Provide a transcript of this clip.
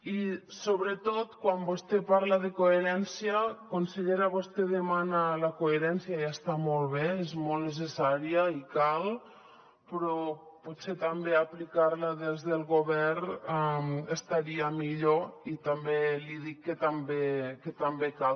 i sobretot quan vostè parla de coherència consellera vostè demana la coherència i està molt bé és molt necessària i cal però potser també aplicar la des del govern estaria millor i també li dic que també cal